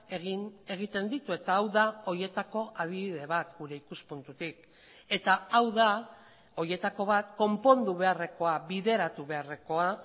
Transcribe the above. egin egiten ditu eta hau da horietako adibide bat gure ikuspuntutik eta hau da horietako bat konpondu beharrekoa bideratu beharrekoa